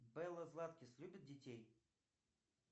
белла златкис любит детей